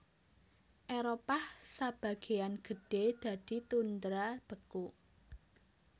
Éropah sabagéyan gedhé dadi tundra beku